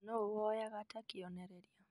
Nũũ woyaga ta kĩonereria?